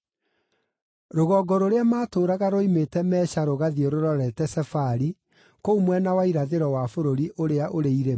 Rũgongo rũrĩa maatũũraga ruoimĩte Mesha rũgathiĩ rũrorete Sefari, kũu mwena wa irathĩro wa bũrũri ũrĩa ũrĩ irĩma.